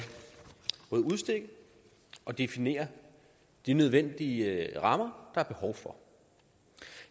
udstikke og definere de nødvendige rammer der er behov for